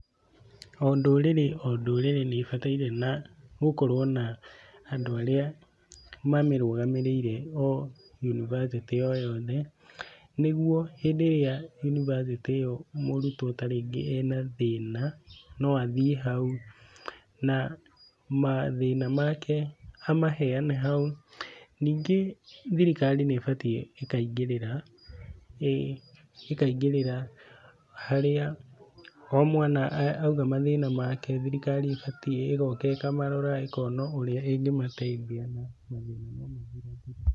O ndũrĩrĩ o ndũrĩri nĩ ibataire gũkorwo na andũ arĩa mamĩrũgamĩrĩire o yunibaciti o yothe, ni guo hĩndĩ ĩrĩa yunibacĩtĩ ĩyo mũrutwo tarĩngĩ ena thĩna, no athiĩ hau, na mathĩna make amaheane hau. Ningĩ thirikari nĩ ibatiĩ ĩkaingĩrĩra, ĩkaingĩrĩra harĩa o mwana auga mathĩna make, thirikari ĩbatiĩ ĩgoka ĩkamarora, ĩkona ũrĩa ĩngĩmateithia na mathĩna no mathira thire.